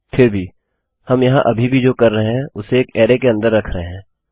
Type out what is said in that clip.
फिर भी हम यहाँ अभी भी जो कर रहे हैं उसे एक अरैके अन्दर रख रहे हैं